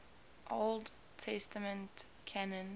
old testament canon